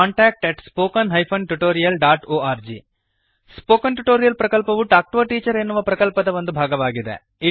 contact at spoken hyphen tutorial dot org spoken tutorial ಪ್ರಕಲ್ಪವು talk to a teacher ಎನ್ನುವ ಪ್ರಕಲ್ಪದ ಒಂದು ಭಾಗವಾಗಿದೆ